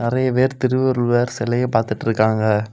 நறைய பேர் திருவள்ளுவர் செலைய பாத்துட்ருக்காங்க.